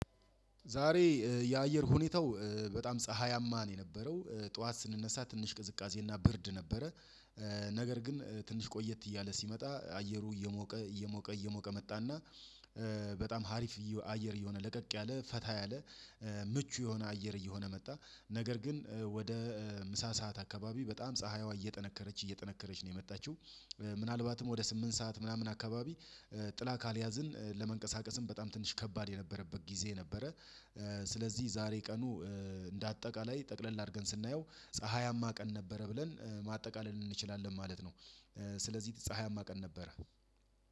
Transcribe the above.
ዛሬ የአየር ሁኔታው በጣም ፀሀያማ ነው የነበረው ጠዋት ስንነሳ ትንሽ ቅዝቃዜ እና ብርድ ነበረ። ነገር ግን ትንሽ ቆየት እያለ ሲመጣ አየሩ እየሞቀ እየሞቀ እየሞቀ መጣና በጣም ሀሪፍ አየር እየሆነ ለቀቅ ያለ ፈታ ያለ ምቹ የሆነ አየር እየሆነ መጣ። ነገር ግን ወደ ምሳ ሰዓት አካባቢ በጣም ፀሀይዋ እየጠነከረች እየጠነከረች ነው የመጣችው ምናልባትም ወደ ስምንት ሰዓት ምናምን አካባቢ ጥላ ካልያዝን ለመንቀሳቀስም በጣም ትንሽ ከባድ የነበረበት ጊዜ ነበረ። ስለዚህ ዛሬ ቀኑ እንደ አጠቃላይ ጠቅለል አድርገን ስናየው ፀሀያማ ቀን ነበረ ብለን ማጠቃለል እንችላለን ማለት ነው። ስለዚህ ፀሀያማ ቀን ነበረ